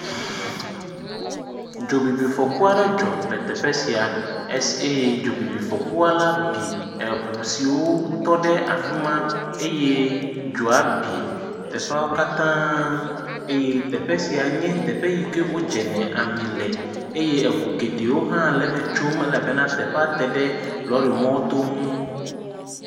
Dzobibifɔku aɖe dzɔ le teƒe sia eye dzobibifɔkua la vi eŋu siwo tɔ ɖe afi ma eye dzoa be teƒeawo katã eye teƒe sia nye teƒe yi ke wodzene ami le eye ŋu geɖewo hã le eme tsom elabena teƒea te ɖe lɔrimɔto ŋu.